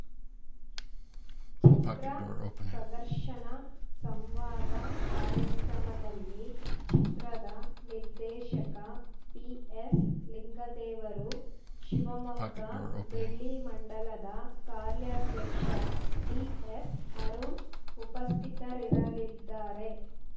ಚಿತ್ರ ಪ್ರದರ್ಶನ ಸಂವಾದ ಕಾರ್ಯಕ್ರಮದಲ್ಲಿ ಚಿತ್ರದ ನಿರ್ದೇಶಕ ಬಿಎಸ್‌ ಲಿಂಗದೇವರು ಶಿವಮೊಗ್ಗ ಬೆಳ್ಳಿಮಂಡಲದ ಕಾರ್ಯಾಧ್ಯಕ್ಷ ಡಿಎಸ್‌ ಅರುಣ್‌ ಉಪಸ್ಥಿತರಿರಲಿದ್ದಾರೆ